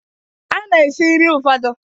A na-esi nri ụfọdụ